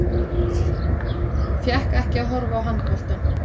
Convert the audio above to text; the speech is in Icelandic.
Fékk ekki að horfa á handboltann